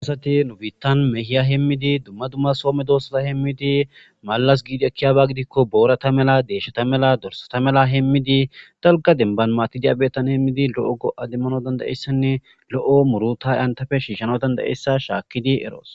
Asati nubittan mehiyya hemiddi dumma dumma somedossata hemiddi mallas deshata mella dorssata mella hemiddi dalgga bettan matti de'ya bessan hemiddi lo'o murruta enttaffe shishanaw danda'ssa erros.